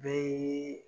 Bɛɛ